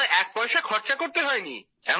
আমায় এক পয়সা খরচা করতে হয়নি